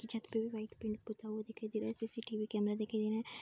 छत पे भी वाइट पेंट पुता हुआ दिखाई दे रा है। सी.सी.टी.वी. कैमरा दिखाई दे रहा है।